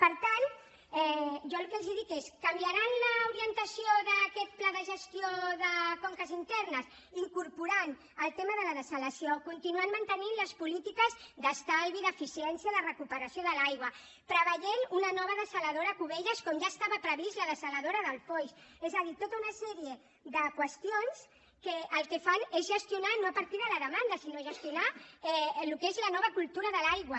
per tant jo el que els dic és canviaran l’orientació d’aquest pla de gestió de conques internes incorporant el tema de la dessalació continuant mantenint les polítiques d’estalvi d’eficiència de recuperació de l’aigua preveient una nova dessaladora a cubelles com ja estava prevista la dessaladora del foix és a dir tota una sèrie de qüestions que el que fan és gestionar no a partir de la demanda sinó gestionar el que és la nova cultura de l’aigua